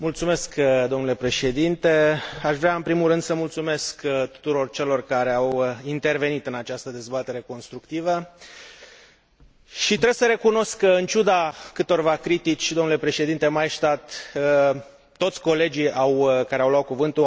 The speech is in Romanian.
Aș vrea în primul rând să mulțumesc tuturor celor care au intervenit în această dezbatere constructivă și trebuie să recunosc că, în ciuda câtorva critici, domnule președinte Maystadt, toți colegii care au luat cuvântul au recunoscut rolul important